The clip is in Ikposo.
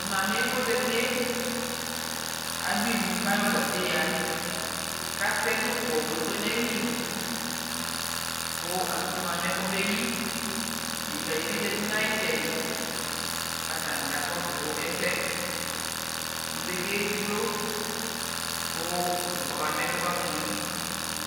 Tʋ mami yɛ kʋ ɔzatie, adʋ ivu kʋ ayɔ gaze ya kʋ atɛ dzʋklɔ kpekpe n'ayili kʋ mʋ asʋmʋ amɛ mɛ kobe yi Deka di bi zati nʋ ayu tsɛdi kʋ atani kakɔsʋ ɛsɛ Ivie kevlo kʋ dzʋklɔ ɛ kɔba mɛ kʋ ɔbakʋtʋ yi